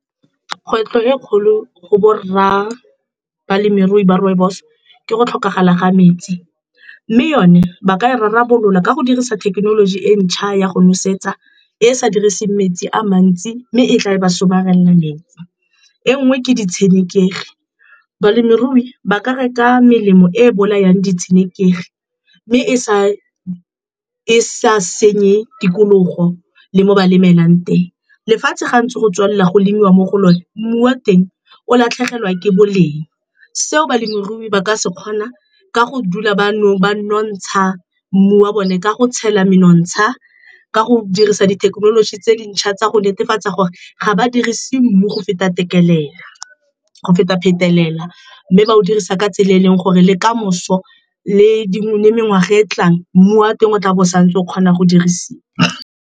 Kgwetlho e kgolo go borra balemirui ba rooibos ke go tlhokagala ga metsi mme yone ba ka rarabolola ka go dirisa thekenoloji e ntšha ya go nosetsa e e sa diriseng metsi a mantsi mme e tla e ba somarela metsi. E nngwe ke di tshenekegi, balemirui ba ka reka melemo e bolayang di tshenekegi mme e sa senye tikologo le mo ba lebelelang teng. Lefatshe ga ntse go tswelela go lemelwa mo go lone, mmu wa teng o latlhegelwa ke boleng. Seo balemirui ba ka se kgona ka go dula ba nontsha mmu wa bone ka go tshela menontsha, ka go dirisa dithekenoloji tse dintšha tsa go netefatsa gore ga ba dirise mmu go feta phetelela, mme ba o dirisa ka tsela e e leng gore le kamoso le mengwaga e tlang mmu wa teng o tlabo o santse o kgona go dirisiwa.